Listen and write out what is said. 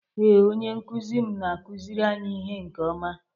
Ee, onye nkuzi m na-akụziri anyị ihe nke ọma